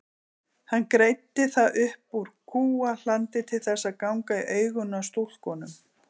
Hann greiddi það upp úr kúahlandi til þess að ganga í augun á stúlkunum.